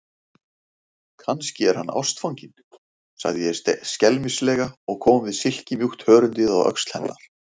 Kannski er hann ástfanginn, sagði ég skelmislega og kom við silkimjúkt hörundið á öxl hennar.